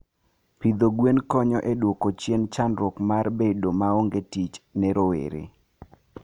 Pidho gwen konyo e dwoko chien chandruok mar bedo maonge tich ne rowere.